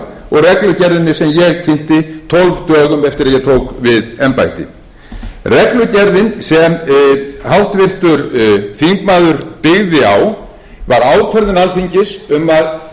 og reglugerðina sem ég kynnti tólf dögum eftir að ég tók við embætti reglugerðin sem háttvirtur þingmaður byggði á var ákvörðun alþingis um að spara tryggingastofnun þúsund